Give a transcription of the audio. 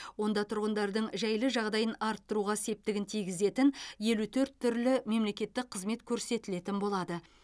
онда тұрғындардың жайлы жағдайын арттыруға септігін тигізетін елу төрт түрлі мемлекеттік қызмет көрсетілетін болады